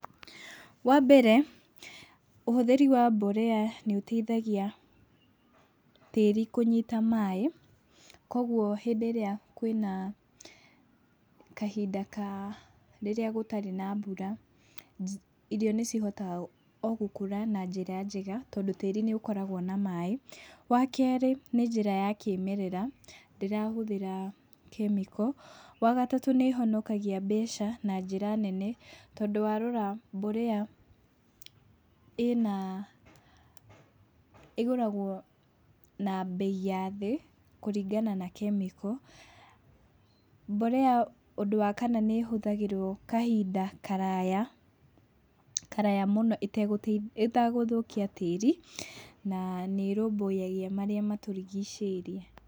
Wa mbere ũhũthĩri wa mborea nĩũteithagia tĩĩri kũnyita maĩ, koguo hĩndĩ ĩrĩa kwĩ na kahinda ka, rĩrĩa gũtarĩ na mbura, irio nĩcihotaga o gũkũra na njĩra njega tondũ tĩĩri nĩũkoragwo na maĩ. Wa kerĩ, nĩ njĩra kĩmerera, ndĩrahũthĩra kemiko. Wa gatatũ, nĩĩhonokagia mbeca na njĩra nene, tondũ warora mbolea ĩgũragwo na mbei ya thĩ kũringana na kemiko. Mbolea ũndũ wa kana nĩĩhũthagĩrwo kahinda karaya mũno ĩtegũthũkia tĩĩri, na nĩrũmbũyagia marĩa matũrigicĩirie.